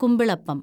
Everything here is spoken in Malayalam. കുമ്പിളപ്പം